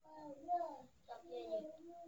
dem dey use guinea corn take guinea corn take do local drinks.